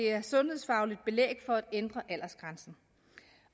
er sundhedsfagligt belæg for at ændre aldersgrænsen